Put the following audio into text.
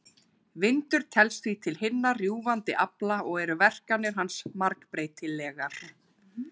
Vindur telst því til hinna rjúfandi afla og eru verkanir hans margbreytilegar.